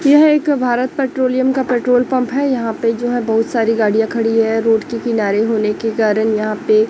यह एक भारत पेट्रोलियम का पेट्रोल पंप है यहां पे जो है बहुत सारी गाड़ियां खड़ी हैं रोड के किनारे होने के कारण यहां पे--